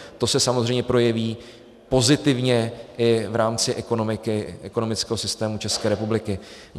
To se samozřejmě projeví pozitivně i v rámci ekonomického systému České republiky.